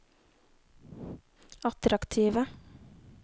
attraktive